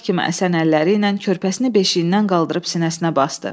Yarpaq kimi əsən əlləri ilə körpəsini beşiyindən qaldırıb sinəsinə basdı.